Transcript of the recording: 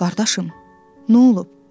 Qardaşım, nə olub?